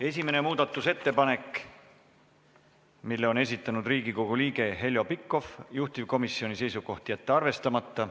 Esimene muudatusettepanek, mille on esitanud Riigikogu liige Heljo Pikhof, juhtivkomisjoni seisukoht: jätta arvestamata.